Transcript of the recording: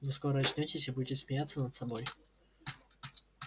вы скоро очнётесь и будете смеяться над собой